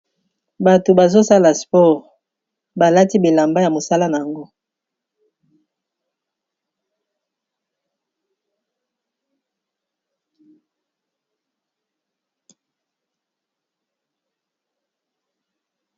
Bato bazosala sport balati bilamba ya mosala na yango.